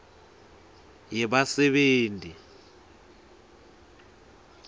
yebasebenti